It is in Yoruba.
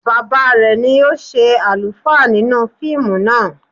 Bàbá rẹ̀ ni ó ṣe àlùfáà nínú fíìmù náà